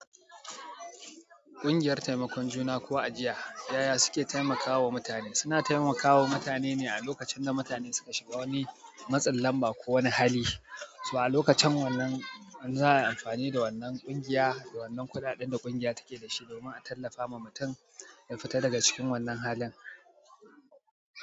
Ƙungiyar taimakon juna ko ajiya, yaya suke taimakawa mutane? Suna taimakawa mutanene alokacin da mutane suka shiga wani matsin lamba kowani hali. So alokacin wannan, za'ayi amfani da wannan ƙungiya da wannan kuɗaɗen da ƙungiya take dashi domin a tallafawa mutum ya fita daga cikin wannan halin.